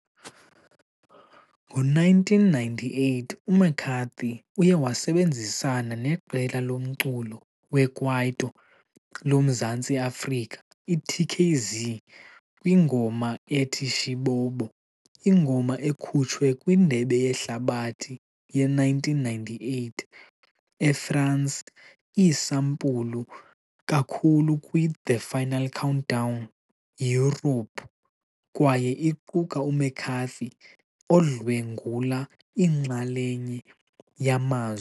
Ngo-1998, uMcCarthy uye wasebenzisana neqela lomculo wekwaito loMzantsi Afrika iTKZee kwingoma ethi " Shibobo ". Ingoma ekhutshwe kwiNdebe yeHlabathi ye-1998 eFransi iisampulu kakhulu kwi-" The Final Countdown " yiYurophu kwaye iquka uMcCarthy odlwengula inxalenye yamazwi.